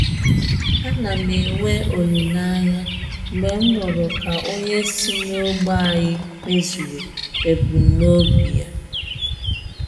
Ana m enwe olileanya mgbe m nụrụ ka onye si n'ógbè ànyị mezuru ebumnobi ya